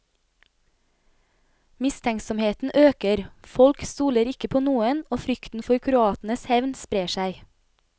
Mistenksomheten øker, folk stoler ikke på noen og frykten for kroatenes hevn sprer seg.